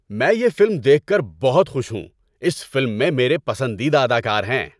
میں یہ فلم دیکھ کر بہت خوش ہوں۔ اس فلم میں میرے پسندیدہ اداکار ہیں۔